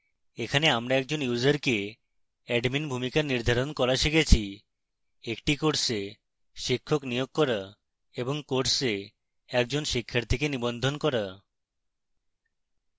এখানে আমরা একজন ইউসারকে অ্যাডমিন ভূমিকা নির্ধারণ করা শিখেছি